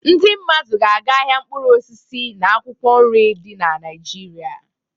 Ndị mmadụ ga-aga ahịa mkpụrụ osisi na akwụkwọ nri dị na Naịjirịa.